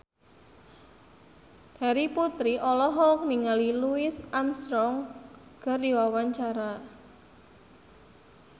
Terry Putri olohok ningali Louis Armstrong keur diwawancara